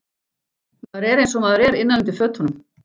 Maður er einsog maður er innan undir fötunum.